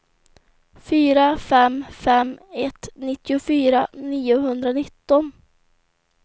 fyra fem fem ett nittiofyra niohundranitton